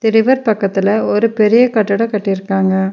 River பக்கத்துல ஒரு பெரிய கட்டடொ கட்டிருகாங்க.